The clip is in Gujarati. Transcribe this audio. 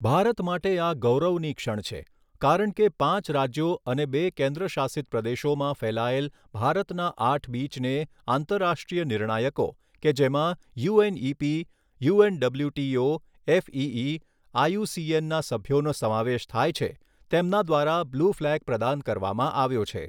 ભારત માટે આ ગૌરવની ક્ષણ છે કારણ કે પાંચ રાજ્યો અને બે કેન્દ્ર શાસિત પ્રદેશોમાં ફેલાયેલ ભારતના આઠ બીચને આંતરરાષ્ટ્રીય નિર્ણાયકો કે જેમાં યુએનઈપી, યુએનડબલ્યુટીઓ, એફઇઇ, આઈયુસીએનના સભ્યોનો સમાવેશ થાય છે તેમના દ્વારા બ્લૂ ફ્લેગ પ્રદાન કરવામાં આવ્યો છે.